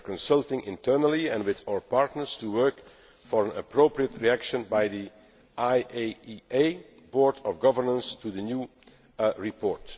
We are consulting internally, and with our partners, to work on an appropriate reaction by the IAEA Board of Governors to the new report.